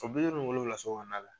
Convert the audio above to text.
O bi duuru nin wolonwula so kɔnɔna la.